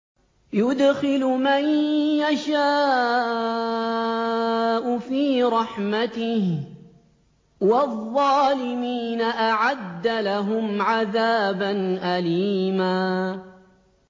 يُدْخِلُ مَن يَشَاءُ فِي رَحْمَتِهِ ۚ وَالظَّالِمِينَ أَعَدَّ لَهُمْ عَذَابًا أَلِيمًا